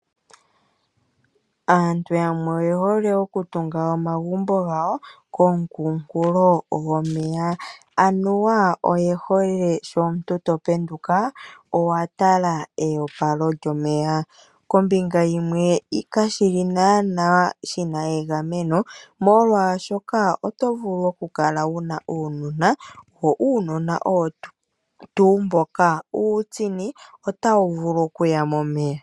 Aantu yamwe oye hole okutunga omagumbo gawo koonkunkulo gomeya. Anuwa oye hole sho omuntu to penduka owa tala eopalo lyomeya. Kombinga yimwe kashi li naanaa shi na egameno, molwashoka oto vulu okukala wu na uunona, wo uunona owo tuu mboka uutsini, otawu vulu okuya momeya.